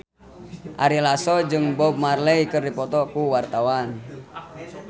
Ari Lasso jeung Bob Marley keur dipoto ku wartawan